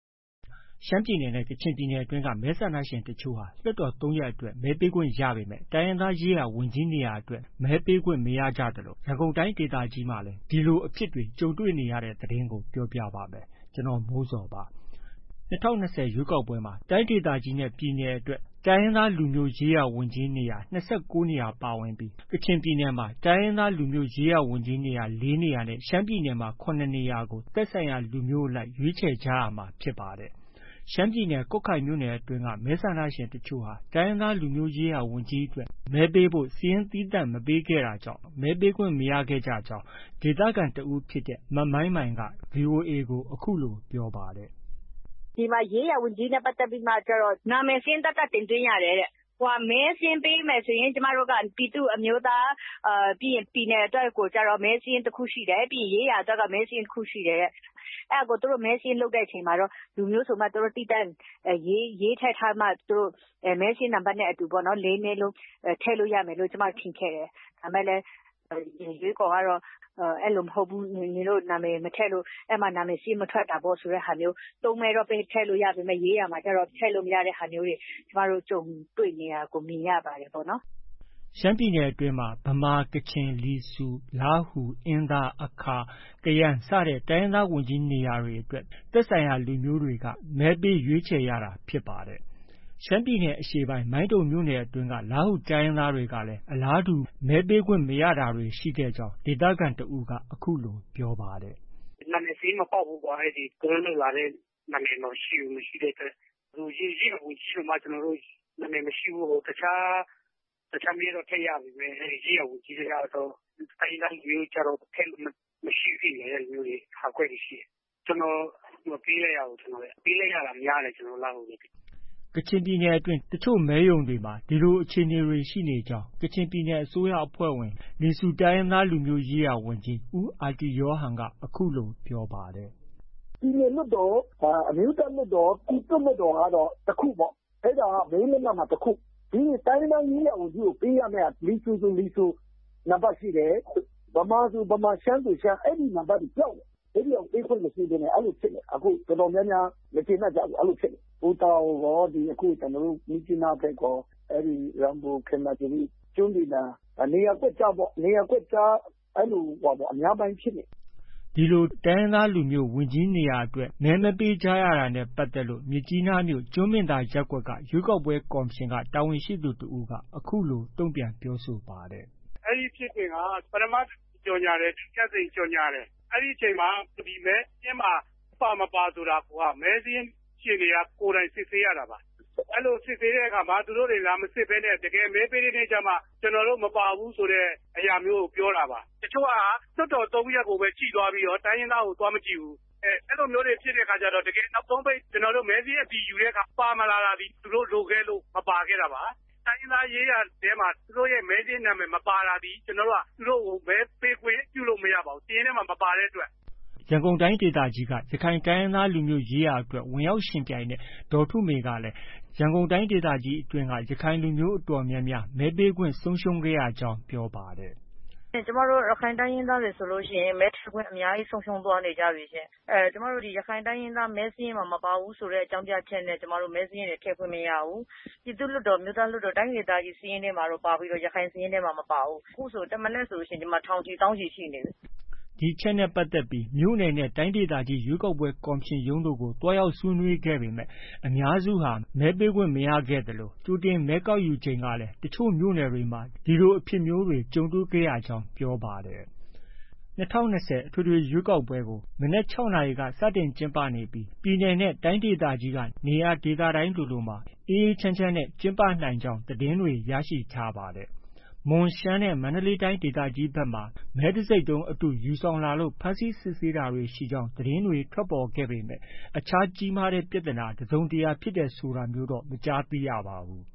ရှမ်းပြည်နယ်နဲ့ ကချင်ပြည်နယ်အတွင်းမှာ မဲဆန္ဒရှင်အချို့ဟာ လွှတ်တော် ၃ ရပ်အတွက် မဲပေးခွင့်ရပေမယ့် တိုင်းရင်းသားရေးရာဝန်ကြီး နေရာအတွက် မဲပေးခွင့်မရကြသလို ရန်ကုန်တိုင်းဒေသကြီးမှာလည်း ဒီလိုအဖြစ်တွေ ကြုံတွေ့နေရပါတယ်။ အပြည့်အစုံကို ကိုမိုးဇော်က စုစည်း တင်ပြထားပါတယ်။ ၂၀၂၀ ရွေးကောက်ပွဲမှာ တိုင်းဒေသကြီးနဲ့ ပြည်နယ်လွှတ်တော်တွေအတွက် တိုင်းရင်းသား လူမျိုးရေးရာဝန်ကြီးနေရာ ၂၉ နေရာ ပါဝင်ပြီး ကချင်ပြည်နယ်မှာ တိုင်းရင်းသားလူမျိုးရေးရာဝန်ကြီးနေရာ ၄ နေရာနဲ့ ရှမ်းပြည်နယ်မှာဆိုရင် ၇ နေရာကို သက်ဆိုင်ရာ လူမျိုးအလိုက် ရွေးချယ်ကြရမှာ ဖြစ်ပါတယ်။ ရှမ်းပြည်နယ် ကွတ်ခိုင်မြို့နယ်အတွင်း မဲဆန္ဒရှင်တချို့ဟာ တိုင်းရင်းသားလူမျိုးရေးရာဝန်ကြီးအတွက် မဲပေးဖို့ စာရင်းသီးသန့် မပေးခဲ့တာကြောင့် မဲပေးခွင့်မရခဲ့ကြကြောင်း ဒေသခံတဦးဖြစ်တဲ့ မမိုင်မိုင်က ဗွီအိုအေကို အခုလို ပြောပါတယ်။ “ဒီမှာ ရေးရာဝန်ကြီးစာရင်းနဲ့ ပတ်သက်ပြီး နာမည်စာရင်း သတ်သတ် တင်သွင်းရတယ်တဲ့။ မဲစာရင်းပေးမယ်ဆို ကျမတို့က ပြည်သူ၊ အမျိုးသား၊ ပြည်နယ်အတွက်ကို မဲစာရင်းတခုရှိတယ်။ ရေးရာအတွက်ကိုကျတော့ မဲစာရင်းတခု ရှိတယ်တဲ့။ အဲဒါ သူတို့ မဲစာရင်းလုပ်တဲ့ အချိန်ကျတော့ လူမျိုးဆိုပြီးတော့ သူတို့ သီးသန့်ရေးထည့်ထားပြီးတော့ မဲစာရင်းနံပါတ်နဲ့အတူ ၄ မဲလုံး ထည့်လို့ရမယ်လို့ ကျမတို့ထင်ခဲ့တယ်။ ဒါပေမယ့်လည်း ရွေးကော်ကတော့ အဲလိုမဟုတ်ဘူး။ နင်တို့ နာမည်မထည့်လို့ အဲဒီမှာ နာမည်စာရင်း မထွက်တာပေါ့ ဆိုတဲ့ဟာမျိုး။ ၃ မဲတော့ ထည့်လို့ရပေမယ့် ရေးရာမှာကျတော့ ထည့်လို့မရတဲ့ဟာမျိုးတွေ ကြုံတွေ့နေရတဲ့ဟာမျိုးတွေ ကျမတို့ မြင်ရပါတယ်ပေါ့နော်။” ရှမ်းပြည်နယ်အတွင်းမှာ ဗမာ၊ ကချင်၊ လီဆူ၊ လားဟူ၊ အင်းသား၊ အခါ၊ ကယန်း စတဲ့ တိုင်းရင်းသားရေးရာဝန်ကြီးနေရာအတွက် သက်ဆိုင်ရာ လူမျိုးတွေက မဲပေးရွေးချယ်ရတာ ဖြစ်ပါတယ်။ ရှမ်းပြည်နယ်အရှေ့ပိုင်း မိုင်းတုံမြို့နယ်အတွင်းက လားဟူတိုင်းရင်းသားတွေလည်း အလားတူ မဲပေးခွင့်မရတာတွေ ရှိခဲ့ကြောင်း ဒေသခံတဦးက အခုလို ပြောပါတယ်။ “နာမည်စာရင်း မပေါက်ဘူးကွာ။ သူတို့လုပ်လာတဲ့ နာမည်မရှိဘူး။ မရှိတဲ့အတွက် ရေးရာဝန်ကြီးအတွက် နာမည်မရှိတဲ့အတွက် တခြားမဲတော့ ထည့်ရပေမယ့် ရေးရာဝန်ကြီးကျတော့ ထည့်လို့မရှိဘူးဖြစ်နေတဲ့ ဟာကွက်တွေရှိတယ်။ ကျနော် မပေးလိုက်ရဘူး။ မပေးလိုက်ရတာများတယ်။ ကျနော်တို့ လားဟူတွေ။” ကချင်ပြည်နယ်အတွင်း တချို့မဲရုံတွေမှာလည်း ဒီလို အခြေအနေတွေ ရှိနေကြောင်း ကချင်ပြည်နယ် အစိုးရအဖွဲ့ဝင် လီဆူ တိုင်းရင်းသားလူမျိုးရေးရာဝန်ကြီး ဦးအာတီယောဟန်က အခုလို ပြောပါတယ်။ “ပြည်နယ်လွှတ်တော်၊ အမျိုးသားလွှတ်တော်၊ ပြည်သူ့လွှတ်တော်က တခု။ အဲဒါက မဲလက်မှတ်မှာ တခု။ တိုင်းရင်းသားရေးရာဝန်ကြီးကို ပေးရမယ့်ဟာ လီဆူဆို လီဆူ၊ နံပါတ်ရှိတယ်။ ဗမာဆိုဗမာ၊ ရှမ်းဆိုရှမ်း အဲဒီ နံပါတ်တွေ ပျောက်နေတယ်။ အဲဒီဟာကို ပေးခွင့်မရှိဘဲနဲ့ အဲလိုဖြစ်နေတယ်။ တော်တော်များများ မကျေနပ်ကြဘူး။ အဲလိုဖြစ်နေတယ်။ ပူတာအိုရော၊ ကျနော်တို့ မြစ်ကြီးနားဘက်ရော အဲဒီ ရမ်ပူ၊ ခေမာသီရိ၊ ကျွန်းပင်သာ နေရာကွက်ကြားပေါ့။ နေရာကွက်ကြား အဲလို အများပိုင်းဖြစ်နေတယ်။” ဒီလို တိုင်းရင်းသားရေးရာဝန်ကြီး နေရာအတွက် မဲမပေးကြရတာနဲ့ ပတ်သက်ပြီး မြစ်ကြီးနားမြို့ ကျွန်းပင်သာရပ်ကွက်က ရွေးကောက်ပွဲကော်မရှင်က တာဝန်ရှိသူတဦးက အခုလို တုံ့ပြန်ပြောဆိုပါတယ်။ “အဲဒီဖြစ်စဉ်က ပထမတကြိမ် ကြေညာတယ်။ ဒုတိယတကြိမ် ကြေညာတယ်။ အဲဒီအချိန်မှာ မဲစာရင်းမှာ ပါ၊ မပါ ဆိုတာကိုက မဲစာရင်းရှင်တွေက ကိုယ်တိုင်စစ်ဆေးရတာပါ။ အဲဒီစစ်ဆေးတဲ့အခါမှာ သူတို့တွေ လာမစစ်ဘဲနဲ့ တကယ်မဲပေးတဲ့ အခါကျမှ ကျနော်တို့မပါဘူးဆိုပြီး ပြောတာပါ။ တချို့ လွှတ်တော် ၃ ရပ်ကိုပဲ ကြည့်သွားပြီးတော့ တိုင်းရင်းသားကို မကြည့်ဘူး။ အဲလိုဖြစ်တဲ့အခါကျတော့ တကယ် နောက်ဆုံးပိတ် မဲစာရင်းအတည်ယူတဲ့အခါကျ ပါမလာတာသည် သူတို့လိုခဲ့လို့ မပါခဲ့တာပါ။ တိုင်းရင်းသားရေးရာထဲမှာ သူတို့ရဲ့ နာမည်မပါတာသည် ကျနော်တို့က သူတို့ကို မဲပေးခွင့်ပြုလို့ မရပါဘူး။ စာရင်းထဲမှာ မပါတဲ့အတွက်။” ရန်ကုန်တိုင်းဒေသကြီးက ရခိုင်တိုင်းရင်းသား လူမျိုးရေးရာအတွက် ဝင်ရောက်ယှဉ်ပြိုင်တဲ့ ဒေါ်ထုမေကလည်း ရန်ကုန်တိုင်းဒေသကြီးအတွင်းက ရခိုင်လူမျိုး အတော်များများ မဲပေးခွင့်ဆုံရှုံးရကြောင်း ပြောပါတယ်။ “ကျမတို့ ရခိုင်တိုင်းရင်းသားတွေဆိုရင် မဲထည့်ခွင့် အများကြီး ဆုံးရှုံးသွားနေကြပြီ။ ကျမတို့ ရခိုင်တိုင်းရင်းသား မဲစာရင်းမှာ မပါဘူးဆိုတဲ့ အကြောင်းပြချက်နဲ့ မဲစာရင်းတွေ ထည့်ခွင့်မရဘူး။ ပြည်သူ့လွှတ်တော်၊ အမျိုးသားလွှတ်တော်၊ တိုင်းဒေသကြီးစာရင်းထဲမှာတော့ ပါပြီးတော့ ရခိုင်စာရင်းထဲမှာ မပါဘူး။ အခုဆို တမနက်ဆို ထောင်ချီ၊ သောင်းချီ ရှိနေပြီ။” ဒီအချက်နဲ့ပတ်သက်ပြီး မြို့နယ်နဲ့ တိုင်းဒေသကြီး ရွေးကောက်ပွဲ ကော်မရှင်ရုံးတို့ကို သွားရောက်ဆွေးနွေးခဲ့ပေမယ့် အများစု မဲပေးခွင့်မရရှိကြသလို ကြိုတင်မဲကောက်ယူချိန်ကလည်း တချို့မြို့နယ်တွေမှာ အလားတူအဖြစ်တွေ ကြုံတွေ့ခဲ့ကြောင်း ပြောပါတယ်။ ၂၀၂၀ ပြည့် အထွေထွေရွေးကောက်ပွဲကို မနက် ၆ နာရီက စတင်ကျင်းပနေပြီး ပြည်နယ်နဲ့ တိုင်းဒေသကြီးက နေရာဒေသတိုင်းလိုလိုမှာ အေးအေးချမ်းချမ်းနဲ့ ကျင်းပနိုင်ကြောင်း သတင်းတွေ ရရှိထားပါတယ်။ မွန်၊ ရှမ်းနဲ့ မန္တလေးတိုင်းဒေသကြီးဘက်တွေမှာ မဲတံဆိပ်တုံးအတု ယူဆောင်လာလို့ ဖမ်းဆီးစစ်ဆေးတာတွေ ရှိကြောင်း သတင်းတွေ ထွက်ပေါ်ခဲ့ပေမယ့် အခြား ကြီးမားတဲ့ ပြဿနာ တစုံတရာဖြစ်တယ် ဆိုတာမျိုးတော့ မကြားသိရပါဘူး